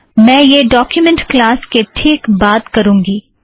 मैं यह document class के ठीक बाद करुँगी